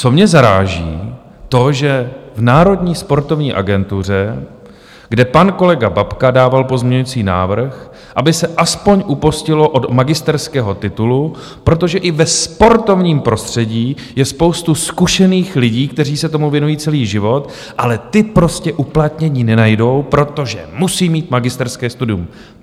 Co mě zaráží, to, že v Národní sportovní agentuře, kde pan kolega Babka dával pozměňovací návrh, aby se aspoň upustilo od magisterského titulu, protože i ve sportovním prostředí je spousta zkušených lidí, kteří se tomu věnují celý život, ale ti prostě uplatnění nenajdou, protože musí mít magisterské studium.